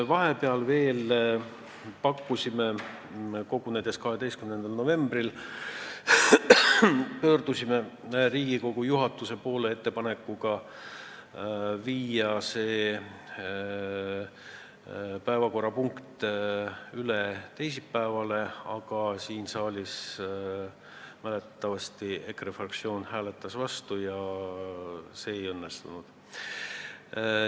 Vahepeal, 12. novembri kogunemisel otsustasime pöörduda Riigikogu juhatuse poole ettepanekuga viia see päevakorrapunkt üle teisipäevale, aga siin saalis mäletatavasti EKRE fraktsioon hääletas vastu ja see ei õnnestunud.